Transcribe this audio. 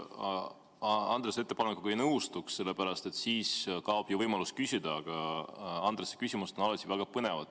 Ma Andrese ettepanekuga ei nõustuks, sellepärast et siis kaob ju võimalus küsida, aga Andrese küsimused on alati väga põnevad.